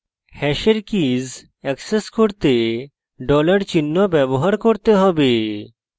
hash key access করতে dollar $ চিহ্ন ব্যবহার করতে হবে